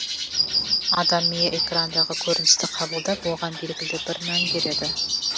адам миы экрандағы көріністі қабылдап оған белгілі бір мән береді